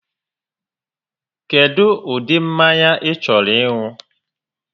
Kedụ ụdị mmanya ị chọrọ ịṅụ?